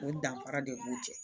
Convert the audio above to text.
O danfara de b'u cɛ